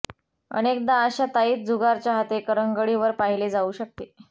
अनेकदा अशा ताईत जुगार चाहते करंगळी वर पाहिले जाऊ शकते